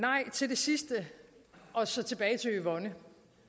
sidste og så tilbage til yvonne